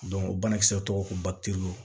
o banakisɛw tɔgɔ ko